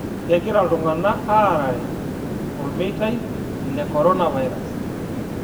Kegira ltung'ana aarare olmeita le koronavirus